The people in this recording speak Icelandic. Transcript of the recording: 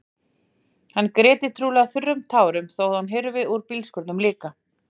Hann gréti trúlega þurrum tárum þó að það hyrfi úr bílskúrnum líka.